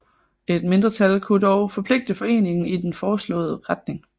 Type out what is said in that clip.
Et mindretal kunne dog forpligte foreningen i den foreslåede retning